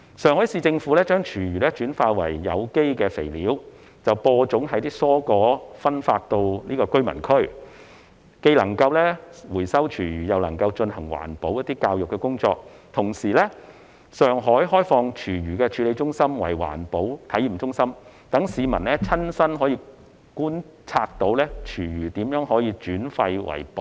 上海市政府將廚餘轉化為有機肥料，再用於種植蔬果分發到居民區，既能回收廚餘又能進行環保教育工作；同時，上海亦開放廚餘處理中心作為環保體驗中心，讓市民親身觀察廚餘如何轉廢為寶。